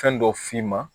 Fɛn dɔ f'i ma